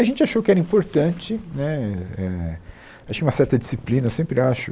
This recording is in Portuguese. A gente achou que era importante né eh, acho que uma certa disciplina, eu sempre acho